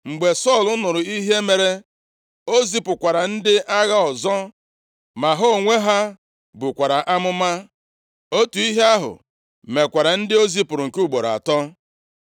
Mgbe Sọl nụrụ ihe mere, o zipụkwara ndị agha ọzọ, ma ha onwe ha bukwara amụma! Otu ihe ahụ mekwara ndị o zipụrụ nke ugboro atọ.